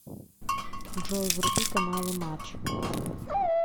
джой вруби каналы матч